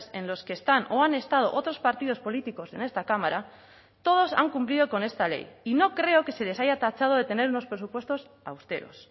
en los que están o han estado otros partidos políticos en esta cámara todos han cumplido con esta ley y no creo que se les haya tachado de tener unos presupuestos austeros